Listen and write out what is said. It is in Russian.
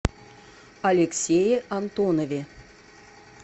алексее антонове